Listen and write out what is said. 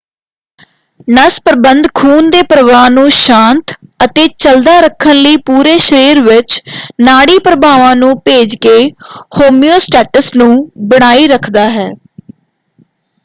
ਨਸ ਪ੍ਰਬੰਧ ਖੂਨ ਦੇ ਪ੍ਰ੍ਵਾਹ ਨੂੰ ਸਾਂਤ ਅਤੇ ਚੱਲਦਾ ਰੱਖਣ ਲਈ ਪੂਰੇ ਸ਼ਰੀਰ ਵਿੱਚ ਨਾੜੀ ਪ੍ਰਭਾਵਾਂ ਨੂੰ ਭੇਜ ਕੇ ਹੋਮਿਓਸਟੇਸਿਸ ਨੂੰ ਬਣਾਈ ਰੱਖਦਾ ਹੈ।